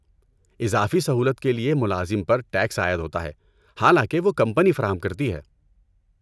اضافی سہولت کے لیے ملازم پر ٹیکس عائد ہوتا ہے حالانکہ وہ کمپنی فراہم کرتی ہے۔